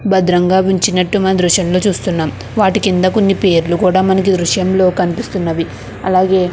భద్రంగా ఉంచినట్లు మనమే దృశ్యంలో చూస్తున్నాము. వాటికి కింద కొన్ని పేర్లు కూడా మనకి దృశ్యంలో కనిపిస్తున్నాయి. అలాగే